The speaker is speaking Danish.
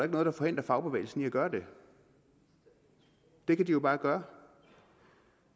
noget der forhindrer fagbevægelsen i at gøre det det kan de jo bare gøre